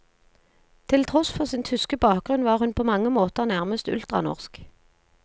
Til tross for sin tyske bakgrunn var hun på mange måter nærmest ultranorsk.